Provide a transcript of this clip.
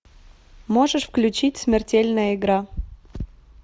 можешь включить смертельная игра